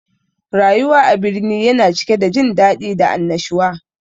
Rayuwa a birni yana cike da jin daɗi da annashuwa